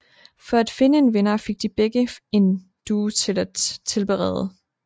For at finde en vinder fik de begge fik en due at tilberede